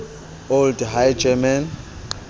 old high german